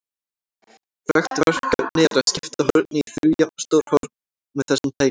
Frægt verkefni er að skipta horni í þrjú jafnstór horn með þessum tækjum.